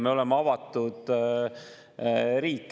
Me oleme avatud riik.